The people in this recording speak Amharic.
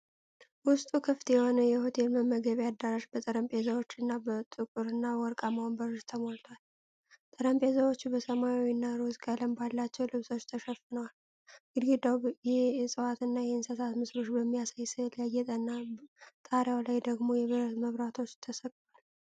ውስጡ ክፍት የሆነ የሆቴል የመመገቢያ አዳራሽ በጠረጴዛዎች እና በጥቁርና ወርቃማ ወንበሮች ተሞልቷል። ጠረጴዛዎቹ በሰማያዊ እና ሮዝ ቀለም ባላቸው ልብሶች ተሸፍነዋል። ግድግዳው የእጽዋትና የእንስሳት ምስሎችን በሚያሳይ ስዕል ያጌጠና፣ ጣሪያው ላይ ደግሞ የብረት መብራቶች ተሰቅለዋል።